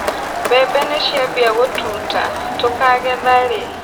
Mbembe nĩciambia gũtuta, tũkagetha rĩ.